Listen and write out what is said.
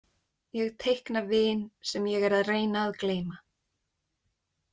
Ég teikna vin sem ég er að reyna að gleyma.